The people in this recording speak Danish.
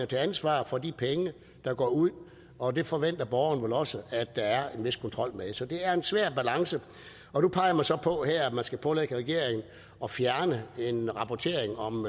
til ansvar for de penge der går ud og det forventer borgeren vel også der er en vis kontrol med så det er en svær balance nu peger man så på her at man skal pålægge regeringen at fjerne en rapportering om